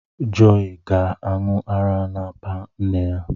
Joii ga-aṅụ ara n’apa nne ya.